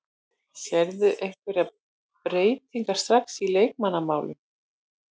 Sérðu einhverjar breytingar strax í leikmannamálum?